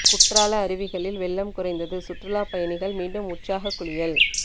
குற்றால அருவிகளில் வெள்ளம் குறைந்தது சுற்றுலா பயணிகள் மீண்டும் உற்சாக குளியல்